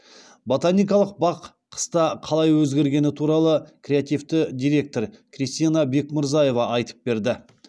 ботаникалық бақ қыста қалай өзгергені туралы креативті директор кристина бекмырзаева айтып берді